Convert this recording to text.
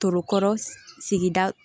Tokɔrɔ sigida